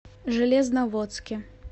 железноводске